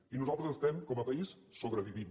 i nosaltres estem com a país sobrevivint